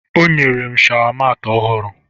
O nyere m shawa maatị ọhụrụ